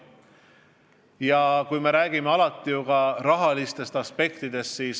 Ja me räägime alati ju ka rahalistest aspektidest.